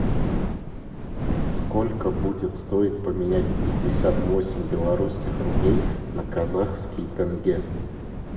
сколько будет стоить поменять пятьдесят восемь белорусских рублей на казахский тенге